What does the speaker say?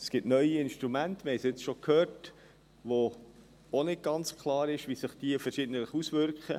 Es gibt neue Instrumente – wir haben dies schon gehört –, bei welchen auch nicht ganz klar ist, wie sich diese auswirken.